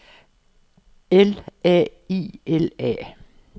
L A I L A